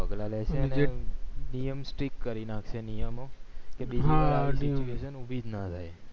પગલા લેશે ને નિયમ strict કરી નાખે નિયમ ઓ ઉભીજ ન થાય